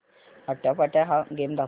आट्यापाट्या हा गेम दाखव